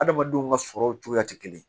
Adamadenw ka sɔrɔw cogoya tɛ kelen ye